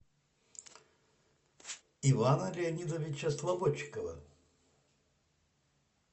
ивана леонидовича слободчикова